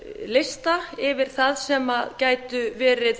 lista yfir það sem gætu verið